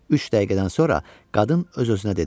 Üç dəqiqədən sonra qadın öz-özünə dedi: